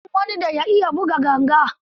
Na san wani da ya iya buga ganga.